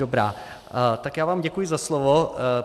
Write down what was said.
Dobrá, tak já vám děkuji za slovo.